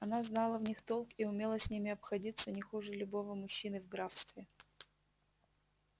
она знала в них толк и умела с ними обходиться не хуже любого мужчины в графстве